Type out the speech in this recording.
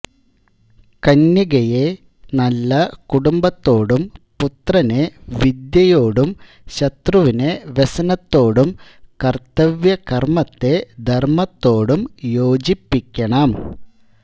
കന്യകയെ നല്ല കുടുംബത്തോടും പുത്രനെ വിദ്യയോടും ശത്രുവിനെ വ്യസനത്തോടും കർത്തവ്യകർമത്തെ ധർമത്തോടും യോജിപ്പിക്കണം